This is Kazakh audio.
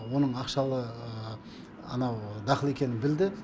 оның ақшалы анау дақыл екенін білді